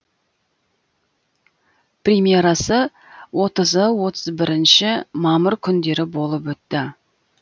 премьерасы отызы отыз бірінші мамыр күндері болып өтті